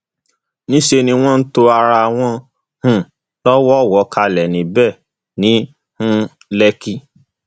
níṣẹ ni wọn to ara wọn um lọwọọwọ kalẹ níbẹ ní um lẹkì